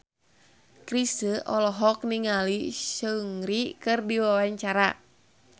Chrisye olohok ningali Seungri keur diwawancara